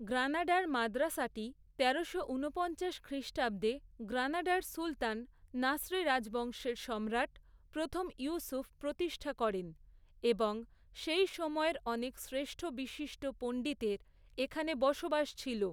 গ্রানাডার মাদ্রাসাটি তেরোশো ঊনপঞ্চাশ খ্রিষ্টাব্দে, গ্রানাডার সুলতান নাসরি রাজবংশের সম্রাট, প্রথম ইউসুফ প্রতিষ্ঠা করেন এবং সেই সময়ের অনেক শ্রেষ্ঠ বিশিষ্ট পণ্ডিতের এখানে বসবাস ছিল।